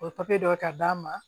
O ye papiye dɔ ye ka d'a ma